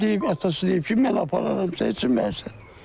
Deyib atası deyib ki, mən apararam səni çimməyə.